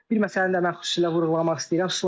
Bir məsələni də mən xüsusilə vurğulamaq istəyirəm.